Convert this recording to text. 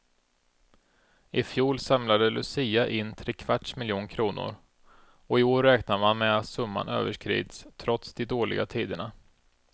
I fjol samlade lucia in trekvarts miljon kronor, och i år räknar man med att summan överskrids trots de dåliga tiderna.